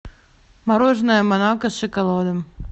мороженое монако с шоколадом